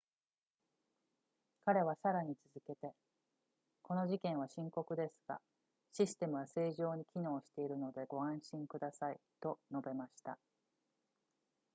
彼はさらに続けてこの事件は深刻ですがシステムは正常に機能しているのでご安心くださいと述べました